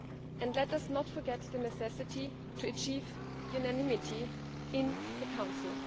And let us not forget the necessity to achieve unanimity in the Council.